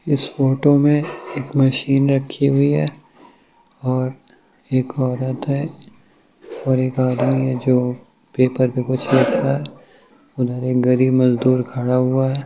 इस फोटो में एक मशीन रखी हुई है और एक औरत है और एक आदमी है जो पेपर पर कुछ लिख रहा है गरीब मजदूर खड़ा हुआ है।